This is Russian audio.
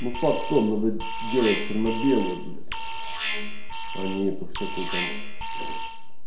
ну факт в том что надо сделать чёрно-белые блять а не эту всякую там